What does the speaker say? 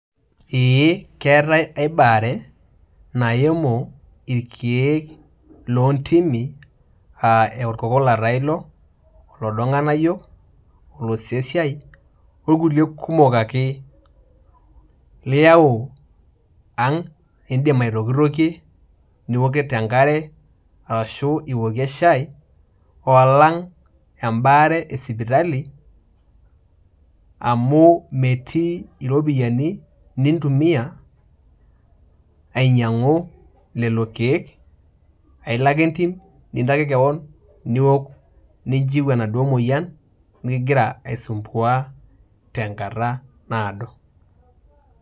Eeh, keatai aibaare naimu ilkeek loontimi aa olkokola taa ilo, loodo ilg'anayio, losesiai o kulie kumok ake liau ang'. Indim aitokitokie, nipik enkare ashu iokie shaai, o alang' embaare e sipitali, amu metii iropiani nintumia ainyang'u lelo keek, ailo ake entim nintaki kewon niok ninchiu te enaduo moyian ningira aisumbua te nkata naado.